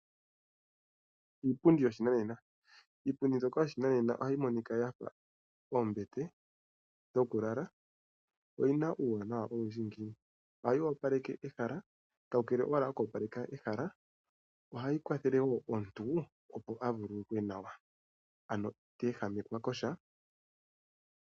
Iipundi yoshinanena, iipundi mbyoka yoshinanena ohayi monika yafa oombete dhoku lala, oyina uuwanawa owindji ngiini, ohayi opaleke ehala, kakele koku opaleke owala ehala ohayi kwathele woo omuntu opo a vululukwe nawa ano itee ehamekwa kosha.